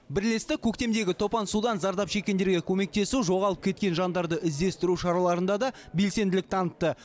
бірлестік көктемгі топан судан зардап шеккендерге көмектесу жоғалып кеткен жандарды іздестіру шараларында да белсенділік танытты